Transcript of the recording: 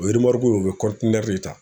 O remɔruku o be de ta